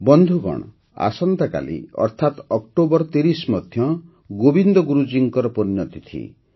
ବନ୍ଧୁଗଣ ଆସନ୍ତାକାଲି ଅର୍ଥାତ ଅକ୍ଟୋବର ୩୦ ମଧ୍ୟ ଗୋବିନ୍ଦ ଗୁରୁଜୀଙ୍କ ପୁଣ୍ୟତିଥି